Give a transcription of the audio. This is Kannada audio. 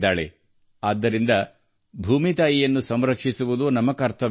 ಹಾಗಾಗಿ ಭೂಮಿ ತಾಯಿಯ ಬಗ್ಗೆಯೂ ಕಾಳಜಿ ವಹಿಸುವುದು ನಮ್ಮ ಕರ್ತವ್ಯ